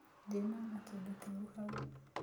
Ndĩnona kĩndũ kĩũru hau